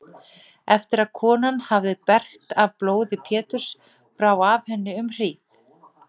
Eftir að konan hafði bergt af blóði Péturs bráði af henni um hríð.